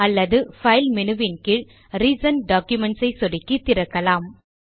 அல்லது file menu வின் கீழ் ரிசென்ட் டாக்குமென்ட்ஸ் ஐ சொடுக்கி திறக்கலாம்